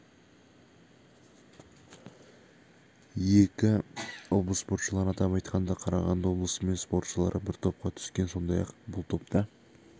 екі облыс спортшылары атап айтқанда қарағанды облысы мен спортшылары бір топқа түскен сондай-ақ бұл топта